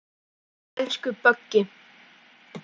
Elsku Böggi.